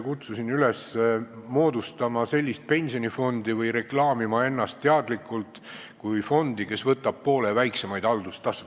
Kutsusin üles moodustama sellist pensionifondi või reklaamima ennast teadlikult kui fondi, kes võtab poole väiksemaid haldustasusid.